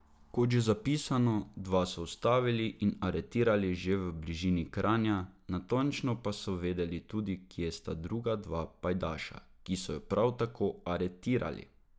Kot že zapisano, dva so ustavili in aretirali že v bližini Kranja, natančno pa so vedeli tudi, kje sta druga dva pajdaša, ki so ju prav tako aretirali.